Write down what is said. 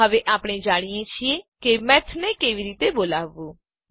હવે આપણે જાણીએ છીએ કે મેથ ને કેવી રીતે બોલાવવું